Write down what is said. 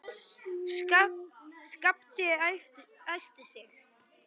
Skapti æsti sig.